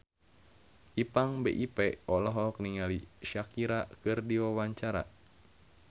Ipank BIP olohok ningali Shakira keur diwawancara